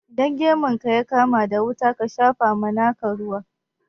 Idan gemun ka ya kama da wuta, ka shapa ma naka ruwa.